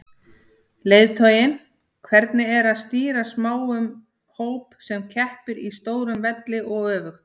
Leiðtoginn, hvernig er að stýra smáum hóp sem keppir á stórum velli og öfugt?